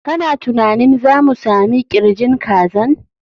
Kana tunanin za mu sami ƙirjin kazan?